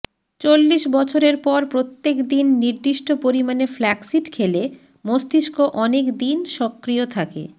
চল্লিশ বছরের পর প্রত্যেক দিন নির্দিষ্ট পরিমাণে ফ্ল্যাক্সিড খেলে মস্তিষ্ক অনেকদিন সক্রিয় থাকে